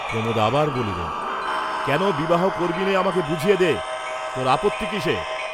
প্রমোদ আবার বলিলেন, কেন বিবাহ করবি নে আমাকে বুঝিয়ে দে, তোর আপত্তি কিসে?